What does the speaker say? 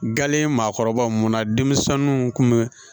Galen maakɔrɔbaw munna denmisɛnninw kun bɛ